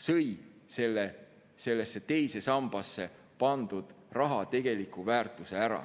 sõid sellesse teise sambasse pandud raha tegeliku väärtuse ära.